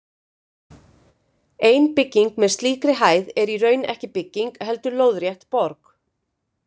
Ein bygging með slíkri hæð er í raun ekki bygging, heldur lóðrétt borg.